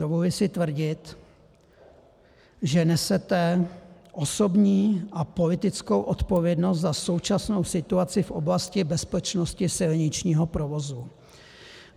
Dovoluji si tvrdit, že nesete osobní a politickou odpovědnost za současnou situaci v oblasti bezpečnosti silničního provozu.